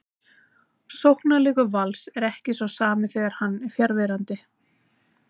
Sóknarleikur Vals er ekki sá sami þegar hann er fjarverandi.